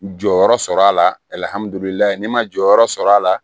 Jɔyɔrɔ sɔrɔ a la ne ma jɔyɔrɔ sɔrɔ a la